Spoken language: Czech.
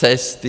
Cesty.